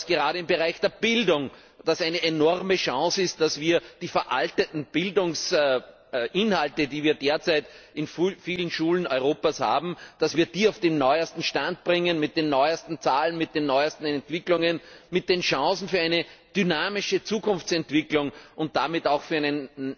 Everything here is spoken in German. Gerade im Bereich der Bildung ist es eine enorme Chance, dass wir die veralteten Bildungsinhalte die wir derzeit in vielen Schulen Europas haben auf den neuesten Stand bringen mit den neuesten Zahlen, mit den neuesten Entwicklungen, mit den Chancen für eine dynamische Zukunftsentwicklung und damit auch